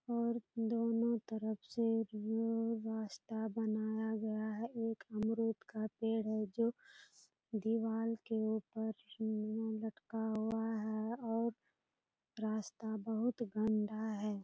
और दोनों तरफ से रास्ता बनाया गया है एक अमरुद का पेड़ है जो दीवाल के ऊपर लटका हुआ है और रास्ता बहुत गंदा है।